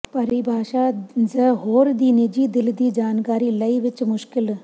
ਪਰਿਭਾਸ਼ਾ ਜ ਹੋਰ ਦੀ ਨਿੱਜੀ ਦਿਲ ਦੀ ਜਾਣਕਾਰੀ ਲਈ ਵਿੱਚ ਮੁਸ਼ਕਲ